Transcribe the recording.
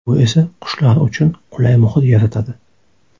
Bu esa qushlar uchun qulay muhit yaratadi.